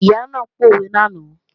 Ìyá náà pòwe lánàá